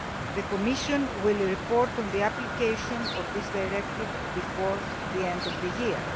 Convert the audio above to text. The Commission will report on the application of the directive before the end of the year.